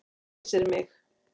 Æsir mig.